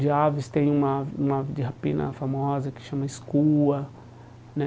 De aves tem uma uma de rapina famosa que chama escua né.